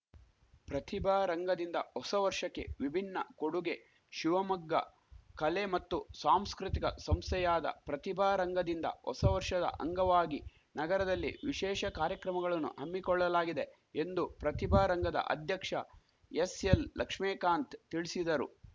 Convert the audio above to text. ಪ್ರತಿಭಾರಂಗದಿಂದ ಹೊಸವರ್ಷಕ್ಕೆ ವಿಭಿನ್ನ ಕೊಡುಗೆ ಶಿವಮೊಗ್ಗ ಕಲೆ ಮತ್ತು ಸಾಂಸ್ಕೃತಿಕ ಸಂಸ್ಥೆಯಾದ ಪ್ರತಿಭಾರಂಗದಿಂದ ಹೊಸ ವರ್ಷದ ಅಂಗವಾಗಿ ನಗರದಲ್ಲಿ ವಿಶೇಷ ಕಾರ್ಯಕ್ರಮಗಳನ್ನು ಹಮ್ಮಿಕೊಳ್ಳಲಾಗಿದೆ ಎಂದು ಪ್ರತಿಭಾರಂಗದ ಅಧ್ಯಕ್ಷ ಎಸ್‌ಎಲ್‌ಲಕ್ಷ್ಮೇಕಾಂತ್‌ ತಿಳಿಸಿದರು